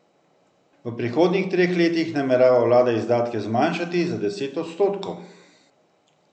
V prihodnjih treh letih namerava vlada izdatke zmanjšati za deset odstotkov.